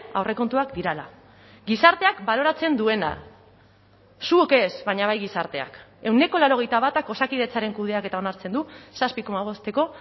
aurrekontuak direla gizarteak baloratzen duena zuok ez baina bai gizarteak ehuneko laurogeita batak osakidetzaren kudeaketa onartzen du zazpi koma bosteko